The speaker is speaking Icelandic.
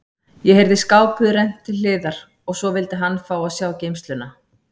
Ég heyrði skáphurð rennt til hliðar og svo vildi hann fá að sjá geymsluna.